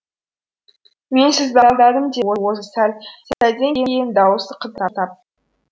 мен сізді алдадым деді ол сәлден кейін даусы қалтырап